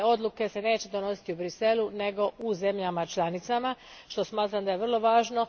Dakle, odluke se neće donositi u Bruxellesu nego u zemljama članicama, što smatram da je vrlo važno.